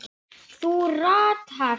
Þú ratar.